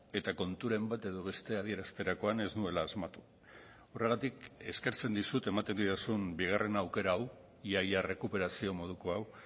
eta konturen bat edo beste adierazterakoan ez nuela asmatu horregatik eskertzen dizut ematen didazun bigarren aukera hau ia ia errekuperazio moduko hau